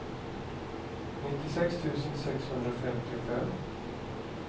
nittiosex tusen sexhundrafemtiofem